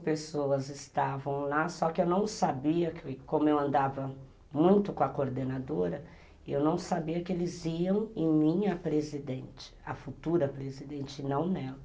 pessoas estavam lá, só que eu não sabia que, como eu andava muito com a coordenadora, eu não sabia que eles iam em minha presidente, a futura presidente, e não nela.